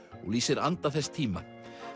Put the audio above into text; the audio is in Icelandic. og lýsir anda þess tíma